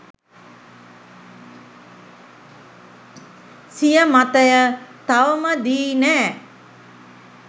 සිය මතය තවම දී නෑ